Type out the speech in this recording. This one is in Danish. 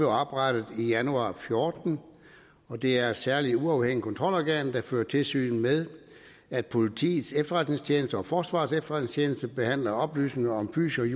oprettet i januar to og fjorten og det er et særligt uafhængigt kontrolorgan der fører tilsyn med at politiets efterretningstjeneste og forsvarets efterretningstjeneste behandler oplysninger om